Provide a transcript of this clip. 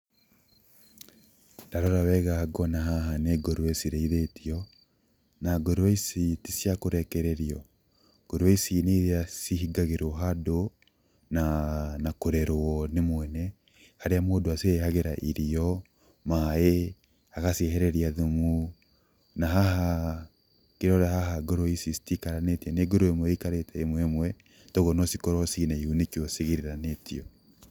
Ndarora wega ngona haha nĩ ngũrũe cirĩithĩtio, na ngũrũe ici ticia kũrekererio. Ngũrũe ici nĩiria cihingagĩrwo handũ, na kũrerwo nĩ mwene, harĩa mũndũ aciheyagĩra irio, maaĩ agaciehereria thumu. Na haha ngĩrora haha ngũrũe ici citikaranĩtie nĩ ngũrũe ĩmwe ĩikarĩte ĩmwe ĩmwe koguo no cikorwo ciĩ na ihu nĩkĩo cigiranĩtio.